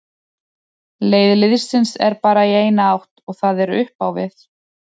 Leið liðsins er bara í eina átt og það er upp á við.